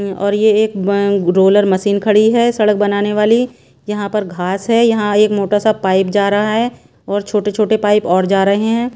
अं और ये एक बं रोलर मशीन खड़ी है सड़क बनाने वाली यहाँ पर घास है यहाँ एक मोटा सा पाइप जा रहा है और छोटे छोटे पाइप और जा रहे हैं।